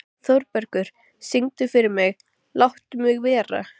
Þórbergur, syngdu fyrir mig „Láttu mig vera“.